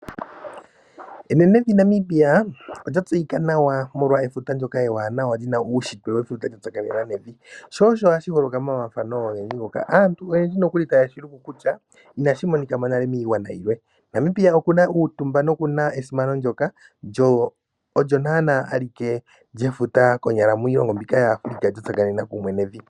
Enenevi Namibia olya tseyika nawa molwa efuta ndyoka ewanawa lina uushitwe wefuta lya tsakanena nevi. Sho osho hashi holoka momafafano ogendji ngoka. Aantu oyendji taye shi luku kutya inashi monika mo nale miigwana yilwe. Namibia oku na uutumba nokuna esimano ndjoka alike miilongo ya Africa lye futa lya tsakanena kumwe nevi.